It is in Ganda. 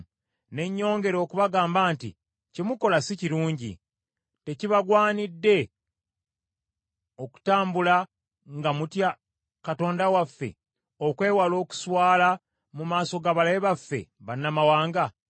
Ne nyongera okubagamba nti, “Kye mukola si kirungi. Tekibagwanidde okutambula nga mutya Katonda waffe, okwewala okuswala mu maaso g’abalabe baffe, bannamawanga?